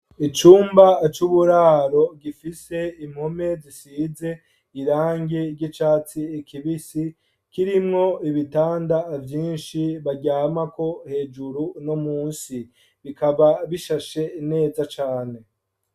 Icumba c'uburaro gifise impome zisize irangi ry'icatsi kibisi kirimwo ibitanda vyinshi baryamako hejuru no munsi. Bikaba bishashe neza cane.